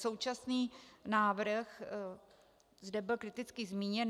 Současný návrh zde byl kriticky zmíněn.